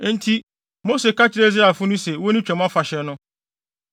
Enti Mose ka kyerɛɛ Israelfo no se wonni Twam Afahyɛ no,